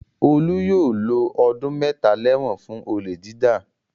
Olú yóò lo ọdún mẹ́ta lẹ́wọ̀n fún olè jíjà.